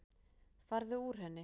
Farðu úr henni.